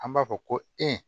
An b'a fɔ ko e